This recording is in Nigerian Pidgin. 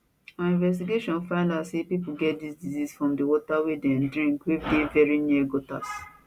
our investigation finda say pipo get di disease from di water wey dem drink wey dey veri near gutters